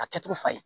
A kɛcogo fa ye